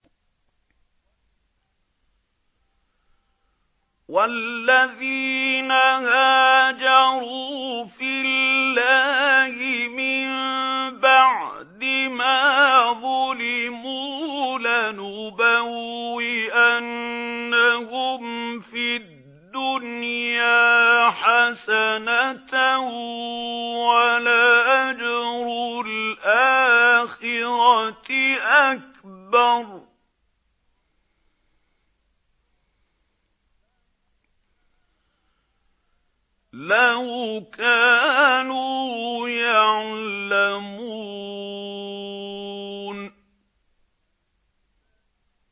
وَالَّذِينَ هَاجَرُوا فِي اللَّهِ مِن بَعْدِ مَا ظُلِمُوا لَنُبَوِّئَنَّهُمْ فِي الدُّنْيَا حَسَنَةً ۖ وَلَأَجْرُ الْآخِرَةِ أَكْبَرُ ۚ لَوْ كَانُوا يَعْلَمُونَ